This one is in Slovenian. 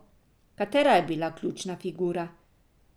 Katera je bila ključna figura?